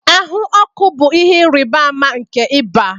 Ahụ ọkụ bụ ihe ịrịba ama nke ịba